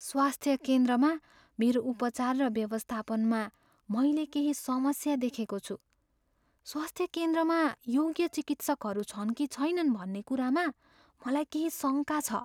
स्वास्थ्य केन्द्रमा मेरो उपचार व्यवस्थापनमा मैले केही समस्या देखेको छु। स्वास्थ्य केन्द्रमा योग्य चिकित्सकहरू छन् कि छैनन् भन्ने कुरामा मलाई केही शङ्का छ।